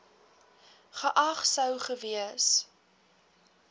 geag sou gewees